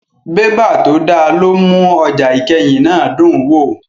Bébà tó dá ló ń mú ọjà ìkẹyìn náà dùn wò